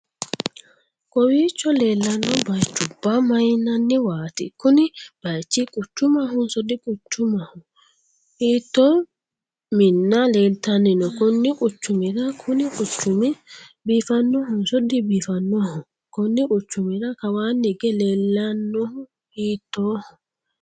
kowiicho leellanno bayichubba mayyinanniwaati? kuni bayichi quchumahonoso diquchumaho? hiitto minna leeltanni no konni quchumira kuni quchumi biifannohonso dibiifannoho? konni quchumira kawaanni hige leellannohu hiittoho?